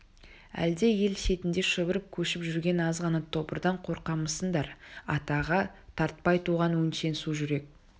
әлде ел шетінде шұбырып көшіп жүрген аз ғана тобырдан қорқамысыңдар атаға тартпай туған өңшең су жүрек